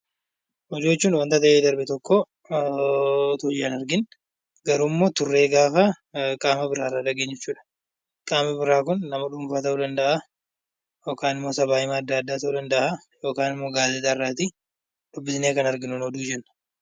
Oduu jechuun wanta ta'ee darbe tokko osoo ijaan hin argiin garuummoo turree gaafa qaama biraarraa dhageenyu jechuudha. Qaamni biraa kun nama dhuunfaa ta'uu danda'a. Yookaan immoo sabaahimaa adda addaa ta'uu danda'a. Yookaan immoo gaazexaarraa dubbifnee kan arginu ta'uu mala.